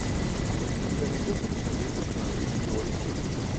у тебя найдется кинолента в жанре видеоревью